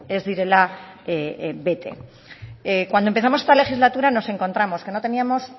ez direla bete cuando empezamos esta legislatura nos encontramos que no teníamos